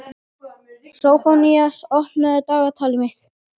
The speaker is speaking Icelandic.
Sófónías, opnaðu dagatalið mitt.